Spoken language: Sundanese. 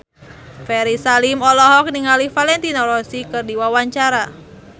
Ferry Salim olohok ningali Valentino Rossi keur diwawancara